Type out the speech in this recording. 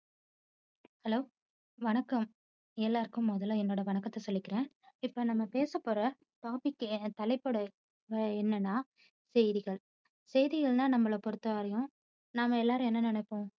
Hello! வணக்கம். எல்லாருக்கும் முதல என்னோட வணக்கத்தை சொல்லிக்கிறேன். இப்போ நாம பேச போற topic தலைப்போட என்னனா செய்திகள். செய்திகள்னா நம்மள பொறுத்தவரை நாம எல்லாரும் என்ன நினைப்போம்?